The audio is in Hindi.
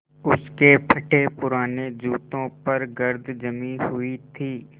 उसके फटेपुराने जूतों पर गर्द जमी हुई थी